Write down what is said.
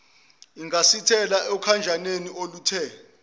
ungasithelela okhanjaneni oluthe